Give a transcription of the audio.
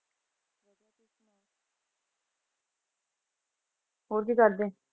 ਹੋਰ ਕੀ ਕਰਦੇ?